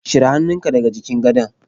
Cire hannunka daga jikin gadon.